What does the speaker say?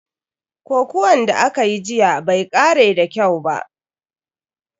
Kokuwan da akayi jiya bai kare da kyau ba.